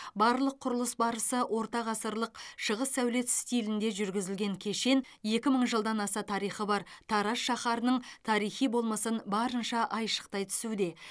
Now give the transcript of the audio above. барлық құрылыс барысы орта ғасырлық шығыс сәулет стилінде жүргізілген кешен екі мың жылдан аса тарихы бар тараз шаһарының тарихи болмысын барынша айшықтай түсуде